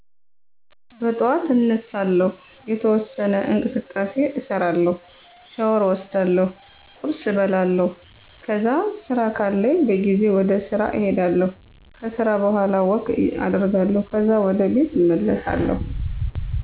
በጠዋት አነሳለሁ፤ የተወሠነ እንቅስቃሴ እሰራለሁ፤ ሻወር እወስዳለሁ፤ ቁርስ እበላለሁ፤ ከዛ ስራ ካለኝ በጊዜ ወደስራ እሄዳለሁ ከስራ በኋላ ወክ አደርጋለሁ ካዛ ወደ ቤት እመለሣለሁ።